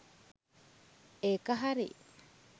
ඒක හරි!